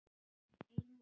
Einum of